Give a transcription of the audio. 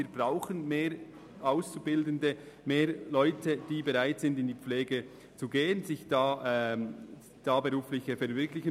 Wir brauchen mehr Leute, die bereit sind, einen Pflegeberuf zu ergreifen.